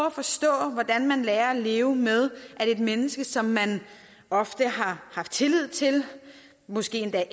at forstå hvordan man lærer at leve med at et menneske som man ofte har haft tillid til og måske endda